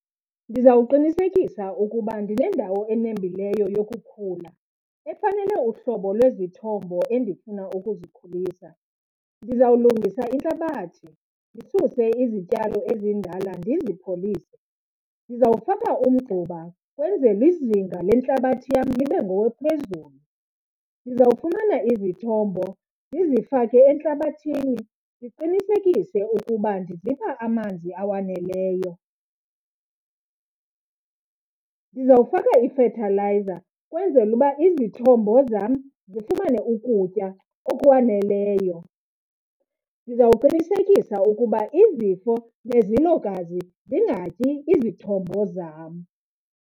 Ndizawuqinisekisa ukuba ndinendawo enembileyo yokukhula, efanele uhlobo lwezithombo endifuna ukuzikhulisa. Ndizawulungisa intlabathi, ndisuse izityalo ezindala ndizipholise. Ndizawufaka umgquba ukwenzela izinga lentlabathi yam libe ngowophezulu. Ndizawufumana izithombo ndizifake entlabathini ndiqinisekise ukuba ndizipha amanzi awaneleyo. Ndizawufaka ifethalayiza ukwenzela uba izithombo zam zifumane ukutya okwaneleyo. Ndizawuqinisekisa ukuba izifo nezilokazi zingatyi izithombo zam.